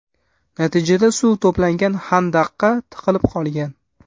Natijada suv to‘plangan xandaqqa tiqilib qolgan.